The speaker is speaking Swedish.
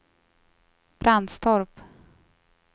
Brandstorp